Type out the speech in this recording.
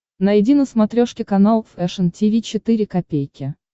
найди на смотрешке канал фэшн ти ви четыре ка